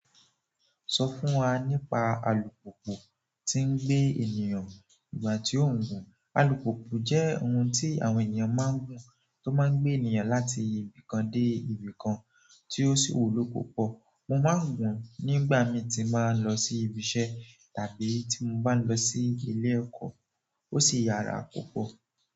Sọ fún wa nípa alùpùpù tí ń gbé ènìyàn ígbà tí ó ń gùn. Alùpùpù jẹ́ ohun tí àwọn ènìyàn máa ń gùn tó máa ń gbé ènìyàn láti ibi kan dé ibi kan tí ó sì wúlò púpọ̀. Mo máa ń gùn nígbà mii tí n bá ń lọ sí ibi iṣẹ́ tàbí tí mo bá ń lọ sí ilé ẹ̀kọ́. Ó sì yára púpọ̀.